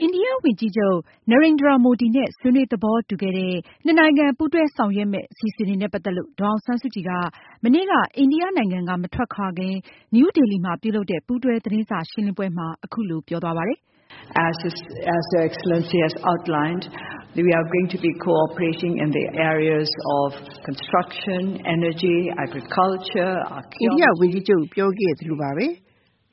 အိန္ဒိယဝန်ကြီးချုပ် Narendra Modi နဲ့ ဆွေးနွေးသဘောတူခဲ့တဲ့ နှစ်နိုင်ငံ ပူး တွဲဆောင်ရွက်မယ့် အစီအစဉ်တွေနဲ့ပတ်သက်လို့ ဒေါ်အောင်ဆန်းစုကြည်က မနေ့ က အိန္ဒိယကမထွက်ခွာခင် နယူးဒေလီမှာ ပြုလုပ်တဲ့ ပူးတွဲသတင်းစာရှင်းလင်းပွဲမှာ အခုလိုပြောသွားပါတယ်။ “အိန္ဒိယဝန်ကြီးချုပ် ပြောခဲ့သလိုပါပဲ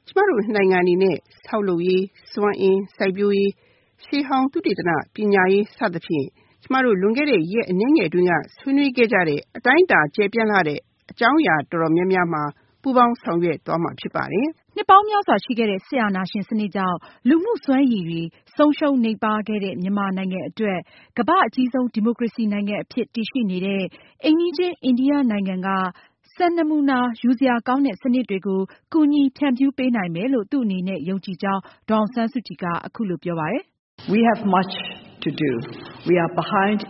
ကျမတို့နှစ်နိုင်ငံအနေနဲ့ ဆောက်လုပ်ရေး၊ စွမ်းအင်၊ စိုက်ပျိုးရေး၊ ရှေးဟောင်းသုတေသန၊ ပညာရေး စသဖြင့် ကျမတို့လွန်ခဲ့တဲ့ ရက်အနည်းငယ်အတွင်းက ဆွေးနွေးခဲ့ကြတဲ့ အတိုင်းအတာကျယ်ပြန့်လှတဲ့ အကြောင်းအရာတော်တော်များများမှာ ပူးပေါင်းဆောင်ရွက် သွားမှာ ဖြစ်ပါတယ်။” နှစ်ပေါင်းများစွာရှိခဲ့တဲ့ စစ်အာဏာရှင်စနစ်ကြောင့် စွမ်းရည်မြှင့်တင်ရေး ဆုံးရှုံးခဲ့ တဲ့ မြန်မာနိုင်ငံအတွက် ကမ္ဘာ့အကြီးဆုံး ဒီမိုကရေစီနိုင်ငံ အဖြစ်တည် ရှိ နေတဲ့ အိမ်နီးချင်း အိန္ဒိယနိုင်ငံကနေ စံနမူနာယူစရာကောင်းတဲ့ စနစ်တွေကို ကူညီဖြန့်ဖြူးပေးနိုင်မယ်လို့ သူ့အနေနဲ့ ယုံကြည်ကြောင်း ဒေါ်အောင်ဆန်းစု ကြည်က အခုလိုပြောပါတယ်။ “ကျမတို့ နိုင်ငံအ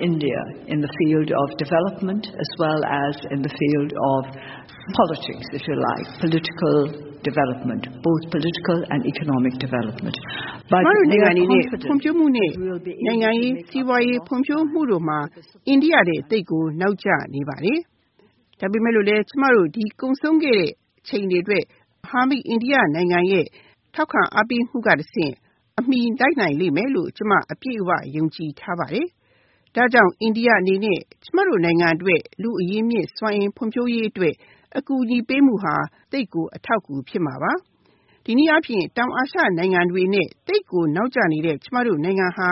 နေနဲ့ ဖွံဖြိုးမှုနဲ့ နိုင်ငံရေး၊ စီးပွားရေးဖွံဖြိုးမှုတို့မှာ အိန္ဒိယထက် သိပ်ကိုနောက်ကျနေပါတယ်။ ဒါပေမဲ့လို့လဲ ကျမတို့ ဒီကုန်ဆုံးခဲ့တဲ့ အချိန်တွေ အတွက် မဟာမိတ်အိန္ဒိယနိုင်ငံရဲ့ အားပေးမှုကတဆင့် အမှီလိုက်နိုင်လိမ့်မယ်လို့ ကျမအပြည့်အဝယုံကြည်ထားပါတယ်။ ဒါကြောင့် အိန္ဒိယအနေနဲ့ ကျမတို့နိုင်ငံအ တွက် လူ့အရင်းအမြစ် စွမ်းအင်ဖွံဖြိုးရေးအတွက် အကူအညီပေးမှုဟာ သိပ်ကို အထောက်အကူဖြစ်မှာပါ။ တနည်းအားဖြင့် တောင်အာရှနိုင်ငံတွေနဲ့ သိပ်ကိုနောက် ကျနေတဲ့ ကျမတို့ နိုင်ငံဟာ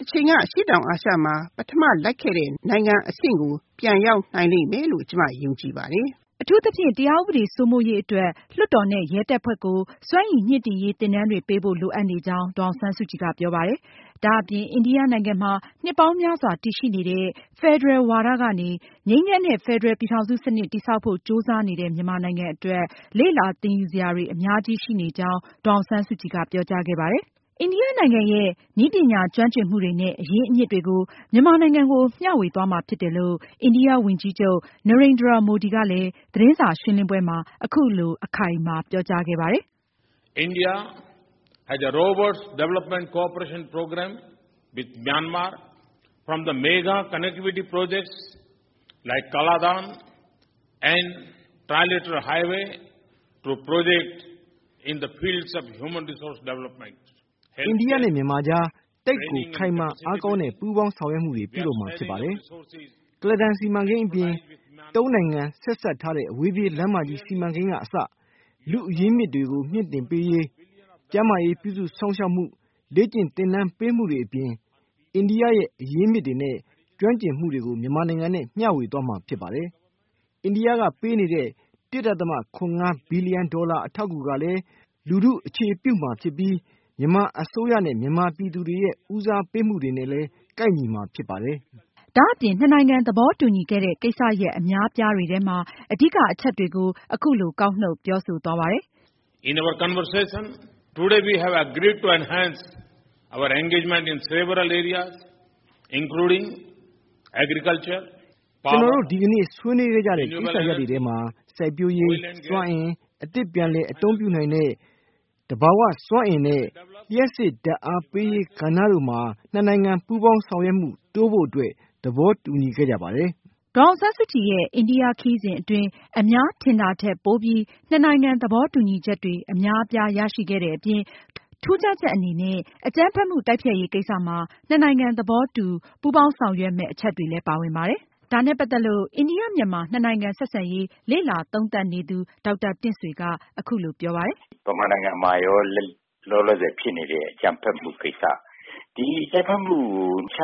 တချိန်က အရှေ့တောင်အာရှမှာ ပထမလိုက်ခဲ့ တဲ့ နိုင်ငံ အဆင့်ကို ပြန်ရောက်နိုင်လိမ့်မယ်လို့ ကျမယုံကြည်ပါတယ်။” အထူးသဖြင့် မြန်မာနိုင်ငံမှာ တရားဥပဒေစိုးမိုးရေးအတွက် လွှတ်တော်နဲ့ ရဲတပ်ဖွဲ့ကို စွမ်းရည်မြှင့်တင်ရေးသင်တန်းတွေပေးဖို့ လိုအပ်နေကြောင်း ဒေါ်အောင် ဆန်း စုကြည် ကပြောပါတယ်။ ဒါအပြင် အိန္ဒိယနိုင်ငံမှာ နှစ်ပေါင်းများစွာတည်ရှိနေတဲ့ ဖယ်ဒရယ်ဝါဒကနေ ငြိမ်းချမ်းတဲ့ ဖယ်ဒရယ်ပြည်ထောင်စု စနစ် တည်ဆောက်ဖို့ ကြိုးစားနေတဲ့ မြန်မာနိုင်ငံအတွက် လေ့လာသင်ယူစရာတွေ အများကြီး ရှိနေကြောင်း ဒေါ်အောင်ဆန်းစုကြည်က ပြောကြားခဲ့ပါတယ်။ အိန္ဒိယ ဝန်ကြီးချုပ် Narendra Modi ကလည်း သူ့နိုင်ငံရဲ့ နည်းပညာ ကျွမ်းကျင် မှုတွေနဲ့ အရင်းအမြစ်တွေကို မြန်မာနိုင်ငံကို မျှဝေသွားမှာဖြစ်တယ်လို့ သတင်းစာ ရှင်းလင်းပွဲမှာ အခုလို အခိုင်အမာပြောကြားခဲ့ပါတယ်။ “အိန္ဒိယနဲ့ မြန်မာ ကြား သိပ်ကိုခိုင်မာအားကောင်းတဲ့ ပူးပေါင်းဆောင်ရွက် မှုတွေပြုလုပ်မှာဖြစ်ပါတယ်။ ကုလားတန်စီမံကိန်းအပြင် သုံးနိုင်ငံ (အိန္ဒိယ၊ မြန်မာ၊ ထိုင်း) ဆက်စပ်ထားတဲ့ အဝေးပြေးလမ်းမကြီး စီမံကိန်းကအစ လူ့အရင်း အမြစ်တွေကို မြှင့်တင်ပေးရေး၊ ကျန်းမာရေးပြု စုစောင့်ရှောက် မှု၊ လေ့ကျင့် သင် တန်းပေးမှုတွေအပြင် အိန္ဒိယရဲ့ အရင်းအမြစ်တွေနဲ့ ကျွမ်းကျင် မှုတွေကို မြန် မာနိုင်ငံနဲ့ မျှဝေသွားမှာဖြစ်ပါတယ်။ အိန္ဒိယကပေးနေတဲ့ မီလီ ယံ ဒေါ်လာ အထောက်အကူကလည်း လူထုကို အခြေပြုမှာဖြစ်ပြီး မြန်မာအစိုးရ နဲ့ မြန်မာပြည်သူတွေရဲ့ ဦးစားပေးမှုတွေနဲ့လည်း ကိုက်ညီမှာဖြစ်ပါတယ်။” ဒါအပြင် နှစ်နိုင်ငံ သဘောတူညီခဲ့တဲ့ ကိစ္စရပ်အများအပြားတွေထဲမှာ အဓိကအချက်တွေကို အခုလို ကောက်နုတ်ပြောဆိုခဲ့ပါတယ်။ “ကျနော်တို့ ဒီကနေ့ဆွေးနွေးခဲ့ကြတဲ့ ကိစ္စရပ်တွေထဲမှာ စိုက်ပျိူးရေး၊ စွမ်းအင်၊ အသစ်ပြန်လည်အသုံးပြုနိုင်တဲ့ သဘာဝစွမ်းအင်နဲ့ လျှပ်စစ်ဓါတ်အားပေးရေး ကဏ္ဍတို့မှာ နှစ်နိုင်ငံ ပူးပေါင်းဆောင်ရွက်မှုတိုးဖို့အတွက် သဘော တူညီခဲ့ကြ ပါတယ်။” ဒေါ်အောင်ဆန်းစုကြည်ရဲ့ အိန္ဒယ ခရီးစဉ်အတွင်း အများထင်တာထက် ပိုပြီး နှစ်နိုင် ငံ သဘောတူညီချက်တွေ အများအပြားရရှိခဲ့တဲ့အပြင် ထူးခြားချက်အနေနဲ့ အကြမ်း ဖက်မှု တိုက်ဖျက်ရေး ကိစ္စမှာ နှစ်နိုင်ငံ သဘော ပူးပေါင်းဆောင်ရွက်မယ့် အချက်တွေလည်း ပါဝင်ပါတယ်။ ဒါနဲ့ပတ်သက်လို့ အိန္ဒိယ-မြန်မာနိုင်ငံ ဆက် ဆံရေး လေ့လာသုံးသပ်နေသူ ဒေါက်တာတင့်ဆွေက အခုလို သုံးသပ် ပါတယ်။ “မြန်မာနိုင်ငံမှာ လောလောဆယ်ဖြစ်နေတဲ့ အကြမ်းဖက်မှုကိစ္စ၊ ဒီအကြမ်းဖက် မှု နှ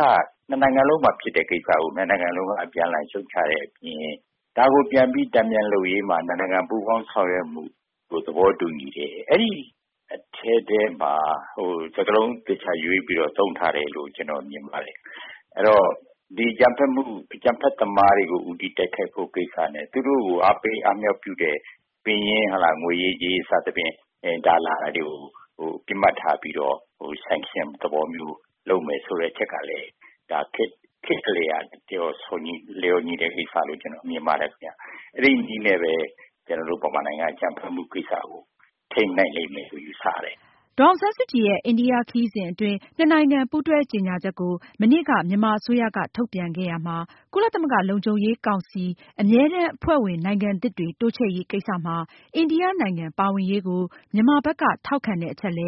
စ်နိုင်ငံလုံးမှာ ဖြစ်နေတဲ့ကိစ္စကို နှစ်နိုင်ငံလုံးက အပြန်အလှန်ရှုံ့ ချတဲ့အပြင် ဒါကိုပြန်ပြီး တန်ပြန်လုပ်ရေးမှာ နှစ်နိုင်ငံပူးပေါင်းဆောင်ရွက်မှုကို သဘောတူ ညီတယ်။ အဲဒီအထဲထဲမှာ စကားလုံးသေချာရွေးပြီး သုံးထားတယ်လို့ ကျနော်မြင် ပါတယ်။ အဲတော့ အကြမ်းဖက်သမားတွေကို ဦးတည်တိုက်ခိုက်ဖို့ကိစ္စနဲ့ သူတို့ကို အားပေးအားမြှောက်ပြုတဲ့ ပင်ရင်းငွေရေးကြေးရေး ပံပိုးမှုတွေကို ပစ်မှတ်ထားပြီး ပိတ်ဆို့အရေးယူမယ်ဆိုတာကလည်း ခေတ်နဲ့လျော်ညီတဲ့ ကိစ္စလို့ ကျနော်မြင် ပါတယ်။ အဲဒီနည်းနဲ့ပဲ ကျနော်တို့ မြန်မာနိုင်ငံက အကြမ်းဖက်မှုကိစ္စကို ထိန်းနိုင် လိမ့်မယ်လို့ ယူဆတယ်။” ဒေါ်အောင်ဆန်းစုကြည်ရဲ့ အိန္ဒိယခရီးစဉ်နဲ့ပတ်သက် လို့ နှစ်နိုင်ငံပူး တွဲကြေညာ ချက်ကို မနေ့က မြန်မာအစိုးရက ထုတ်ပြန်ခဲ့ရာမှာ ကုလသမဂ္ဂ လုံခြုံရေးကောင်စီ အမြန်တမ်းအဖွဲ့ဝင်နိုင်ငံသစ်တွေတိုးချဲ့ရေးကိစ္စမှာ အိန္ဒိနိုင်ငံ ပါဝင်ရေး ကို မြန်မာ ဘက်က ထောက်ခံတဲ့အချက်လ